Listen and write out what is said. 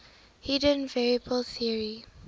hidden variable theory